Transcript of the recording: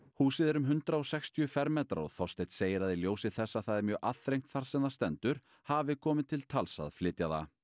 húsið er um hundrað og sextíu fermetrar og Þorsteinn segir að í ljósi þess að það er mjög aðþrengt þar sem það stendur hafi komið til tals að flytja það